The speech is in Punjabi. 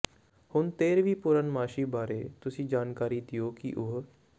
ਹੁਣ ਤੇਰਵੀਂ ਪੂਰਨਮਾਸ਼ੀ ਬਾਰੇ ਤੁਸੀਂ ਜਾਣਕਰੀ ਦਿਓ ਕਿ ਉਹ